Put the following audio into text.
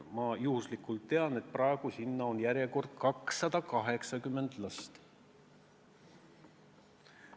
Ma juhuslikult tean, et praegu on seal järjekorras 280 last.